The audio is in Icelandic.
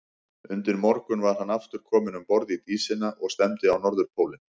Undir morgun var hann aftur kominn um borð í Dísina og stefndi á Norðurpólinn.